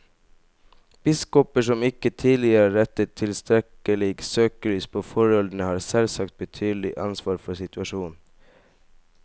Biskoper som ikke tidligere har rettet tilstrekkelig søkelys på forholdene, har selvsagt betydelig ansvar for situasjonen.